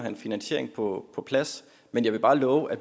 en finansiering på plads men jeg vil bare love at